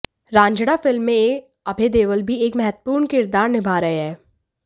Raanjhanaa film में अभय देओल भी एक महत्वपूर्ण किरदार निभा रहे हैं